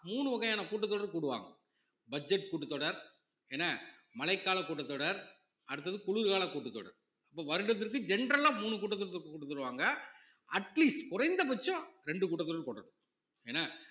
மூணு வகையான கூட்டத்தொடர் கூடுவாங்க budget கூட்டத்தொடர், என்ன மழைக்கால கூட்டத்தொடர் அடுத்தது குளிர்கால கூட்டத்தொடர் அப்ப வருடத்திற்கு general ஆ மூணு கூட்டத்தொடர் கூட்டுத்தருவாங்க atleast குறைந்தபட்சம் இரண்டு கூட்டத்தொடர் கூட்டணும் என்ன